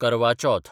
करवा चौथ